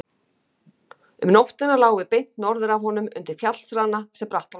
Um nóttina lágum við beint norður af honum undir fjallsrana sem Brattháls heitir.